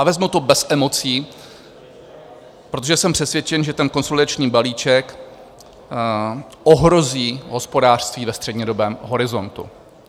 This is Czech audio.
A vezmu to bez emocí, protože jsem přesvědčen, že ten konsolidační balíček ohrozí hospodářství ve střednědobém horizontu.